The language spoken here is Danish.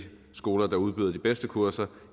skoler der udbyder de bedste kurser